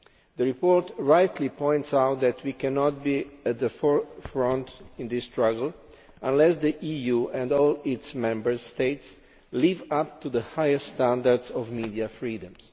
The report rightly points out that we cannot be at the forefront in this struggle unless the EU and all its Member States live up to the highest standards of media freedoms.